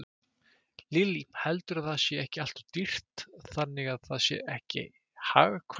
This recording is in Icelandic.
Lillý: Heldurðu að það sé ekki alltof dýrt þannig að það sé ekki hagkvæmt?